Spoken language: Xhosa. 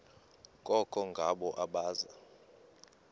koko ngabo abaza